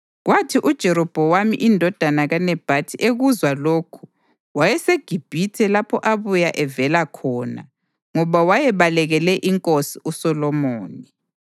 Kwathi uJerobhowamu indodana kaNebhathi ekuzwa lokhu (wayeseGibhithe lapho abuya evela khona ngoba wayebalekele inkosi uSolomoni.)